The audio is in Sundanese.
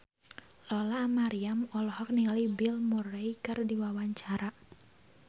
Lola Amaria olohok ningali Bill Murray keur diwawancara